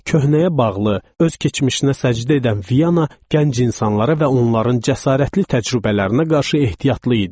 Köhnəyə bağlı, öz keçmişinə səcdə edən Vyana gənc insanlara və onların cəsarətli təcrübələrinə qarşı ehtiyatlı idi.